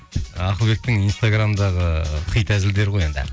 ақылбектің инстаграмдағы хит әзілдері ғой енді